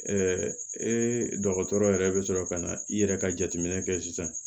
dɔgɔtɔrɔ yɛrɛ bɛ sɔrɔ ka na i yɛrɛ ka jateminɛ kɛ sisan